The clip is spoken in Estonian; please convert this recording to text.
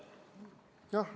Jah.